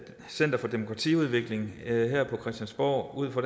center for demokratiudvikling her på christiansborg ud fra